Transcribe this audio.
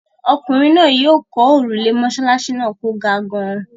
Ọkùnrin náà yóò kọ́ òrùlé mọ́ṣáláṣí náà kò ga gan-an.